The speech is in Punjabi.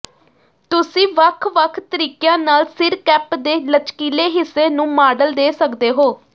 ਤੁਸੀਂ ਵੱਖ ਵੱਖ ਤਰੀਕਿਆਂ ਨਾਲ ਸਿਰ ਕੈਪ ਦੇ ਲਚਕੀਲੇ ਹਿੱਸੇ ਨੂੰ ਮਾਡਲ ਦੇ ਸਕਦੇ ਹੋ